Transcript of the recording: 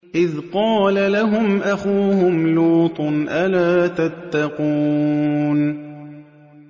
إِذْ قَالَ لَهُمْ أَخُوهُمْ لُوطٌ أَلَا تَتَّقُونَ